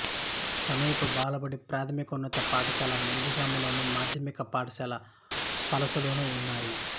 సమీప బాలబడి ప్రాథమికోన్నత పాఠశాల నందిగంలోను మాధ్యమిక పాఠశాల పలాసలోనూ ఉన్నాయి